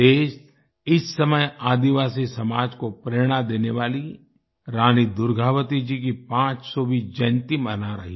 देश इस समय आदिवासी समाज को प्रेरणा देने वाली रानी दुर्गावती जी की 500वीं जयंती मना रही हैं